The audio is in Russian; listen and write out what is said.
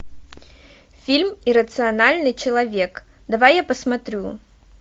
фильм иррациональный человек давай я посмотрю